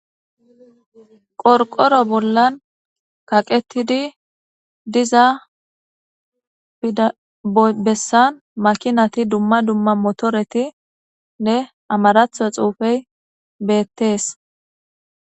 Qorqoro bollan kaqetidi diza bessan makinati dumma dumma motoretinne amaraththo xuufey beettes.